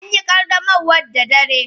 An yi qaddamarwar da dare.